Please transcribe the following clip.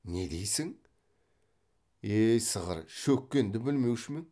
не дейсің е сығыр шөккенді білмеуші ме ең